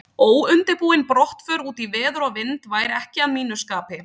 Óundirbúin brottför út í veður og vind væri ekki að mínu skapi.